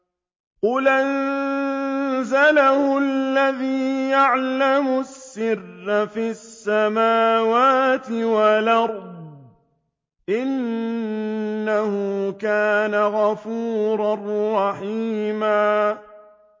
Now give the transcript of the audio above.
قُلْ أَنزَلَهُ الَّذِي يَعْلَمُ السِّرَّ فِي السَّمَاوَاتِ وَالْأَرْضِ ۚ إِنَّهُ كَانَ غَفُورًا رَّحِيمًا